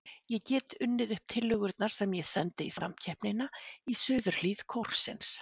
Ég get unnið upp tillögurnar sem ég sendi í samkeppnina í suðurhlið kórsins.